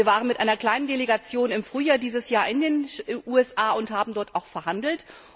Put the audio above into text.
Wir waren mit einer kleinen Delegation im Frühjahr dieses Jahres in den USA und haben dort auch verhandelt.